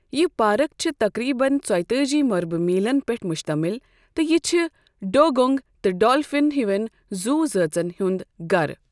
یہِ پارک چھِ تقریباً ژۄیِہ تٲجی مربع میٖلَن پٮ۪ٹھ مشتمل تہٕ یہِ چھِ ڈوگونگ تہٕ ڈالفِن ہیوٮ۪ن زُو زٲژَن ہُنٛد گرٕ۔